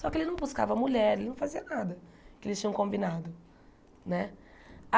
Só que ele não buscava mulher, ele não fazia nada que eles tinham combinado, né?